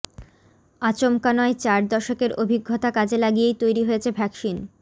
আচমকা নয় চার দশকের অভিজ্ঞতা কাজে লাগিয়েই তৈরী হয়েছে ভ্যাকসিন